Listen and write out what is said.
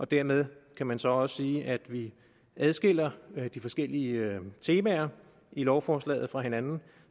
dermed kan man så også sige at vi adskiller de forskellige temaer i lovforslaget fra hinanden